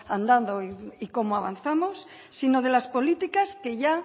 andado y cómo avanzamos sino de las políticas que ya